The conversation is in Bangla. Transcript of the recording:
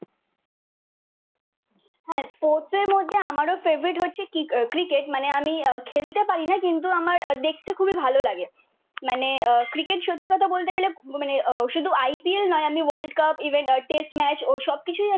হ্যাঁ স্পোর্টসের মধ্যে আমারও ফেভারিট হচ্ছে ক্রি আহ ক্রিকেট। মানে আমি আহ খেলতে পারি না কিন্তু আমার দেখতে খুবই ভালো লাগে। মানে আহ ক্রিকেট সত্যি কথা বলতে গেলে মানে শুধু IPL নয় আমি world cup even uh test match ঐ সব কিছুই